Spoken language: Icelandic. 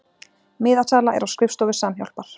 Miðasala er á skrifstofu Samhjálpar